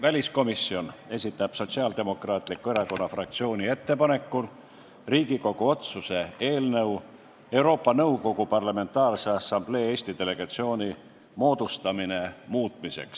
Väliskomisjon esitab Sotsiaaldemokraatliku Erakonna fraktsiooni ettepanekul Riigikogu otsuse "Riigikogu otsuse "Euroopa Nõukogu Parlamentaarse Assamblee Eesti delegatsiooni moodustamine" muutmine" eelnõu.